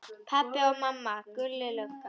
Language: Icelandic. Pabbi og mamma, Gulli lögga.